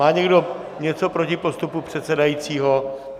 Má někdo něco proti postupu předsedajícího?